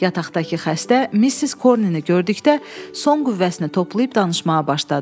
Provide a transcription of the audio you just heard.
Yataqdakı xəstə Missis Cornini gördükdə son qüvvəsini toplayıb danışmağa başladı.